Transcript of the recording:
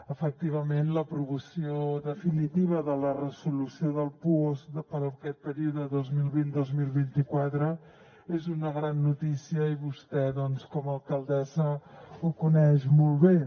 efectivament l’aprovació definitiva de la resolució del puosc per aquest període dos mil vint dos mil vint quatre és una gran notícia i vostè doncs com a alcaldessa ho coneix molt bé